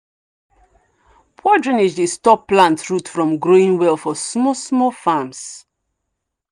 poor drainage dey stop plant root from growing well for small small farms.